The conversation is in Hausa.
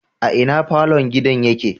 A ina falon gidan yake?